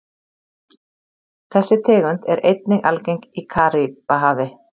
Þessi tegund er einnig algeng í Karíbahafi.